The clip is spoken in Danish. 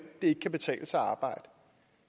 det ikke betale sig at arbejde